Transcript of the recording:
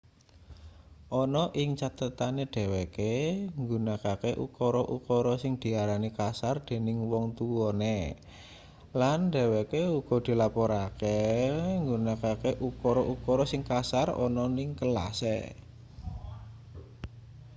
ana ning cathetane dheweke nggunakake ukara-ukara sing diarani kasar dening wong tuwane lan dheweke uga dilaporke nggunakake ukara-ukara sing kasar ana ning kelase